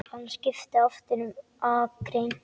Hann skipti aftur um akrein.